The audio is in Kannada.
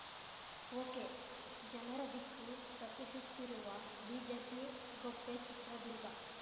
ಒಕೆಜನರ ದಿಕ್ಕು ತಪ್ಪಿಸುತ್ತಿರುವ ಬಿಜೆಪಿ ಗೊಪ್ಪೆ ಚಿತ್ರದುರ್ಗ